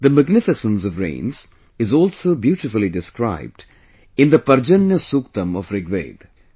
The magnificence of rains is also beautifully described in the Parjanya Suktam of Rigveda